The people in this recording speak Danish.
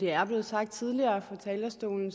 er blevet sagt fra talerstolen